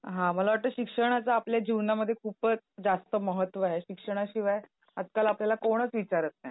हां मला वाटतंय शिक्षणाचा आपल्या जीवनामध्ये खूपच जास्त महत्व आहे. शिक्षणाशिवाय आजकाल आपल्याला कोणीच विचारात नाही.